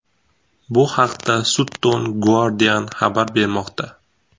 Bu haqda Sutton Guardian xabar bermoqda .